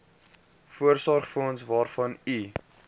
voorsorgsfonds waarvan u